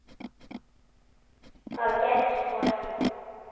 Það gerðist þó ekki.